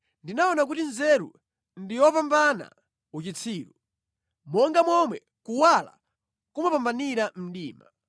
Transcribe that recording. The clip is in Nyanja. Ndinaona kuti nzeru ndi yopambana uchitsiru, monga momwe kuwala kumapambanira mdima.